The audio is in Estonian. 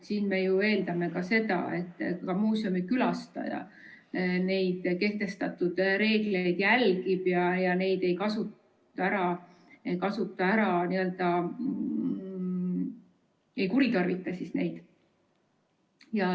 Siin me ju eeldame ka seda, et muuseumikülastaja neid kehtestatud reegleid järgib ega kuritarvita neid.